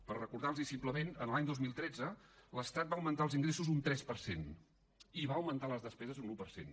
per recordar los ho simplement l’any dos mil tretze l’estat va augmentar els ingressos un tres per cent i va augmentar les despeses un un per cent